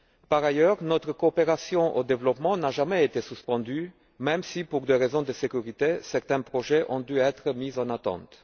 Par ailleurs, notre coopération au développement n'a jamais été suspendue, même si, pour des raisons de sécurité, certains projets ont dû être mis en attente.